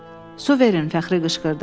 Su verin, Fəxri qışqırdı.